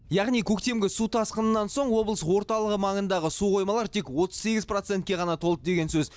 яғни көктемгі су тасқынынан соң облыс орталығы маңындағы су қоймалары тек отыз сегіз процентке ғана толды деген сөз